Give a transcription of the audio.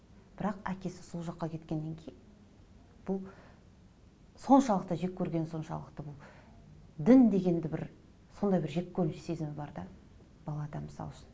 бірақ әкесі сол жаққа кеткеннен кейін бұл соншалықты жеккөргені соңшалықты бұл дін дегенді бір сондай бір жеккөрініш сезімі бар да балада мысал үшін